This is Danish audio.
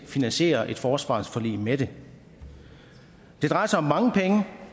finansiere et forsvarsforlig med dem det drejer sig om mange penge